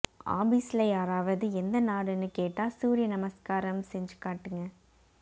ஆபிஸ்ல யாராவது எந்த நாடுனு கேட்டா சூரிய நமஸ்காரம் செஞ்சு காட்டுங்க